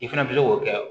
I fɛnɛ bɛ se k'o kɛ